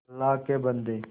अल्लाह के बन्दे